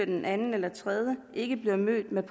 den anden eller 3 ikke bliver mødt med